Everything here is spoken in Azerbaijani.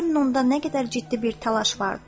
Görün onda nə qədər ciddi bir təlaş vardır.